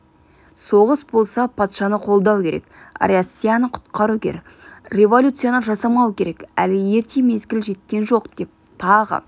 соғыс болса патшаны қолдау керек россияны құтқару керек революцияны жасамау керек әлі ерте мезгілі жеткен жоқ деп тағы